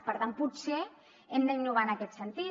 per tant potser hem d’innovar en aquest sentit